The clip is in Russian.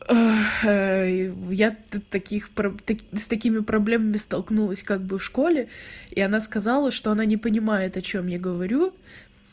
ой я тут таких с такими проблемами столкнулась как бы в школе и она сказала что она не понимает о чём я говорю